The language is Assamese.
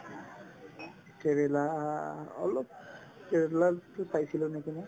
কেৰেলা আ অলপ কেৰেলাতো চাইছিলো নেকি মই